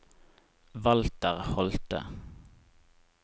Walter Holthe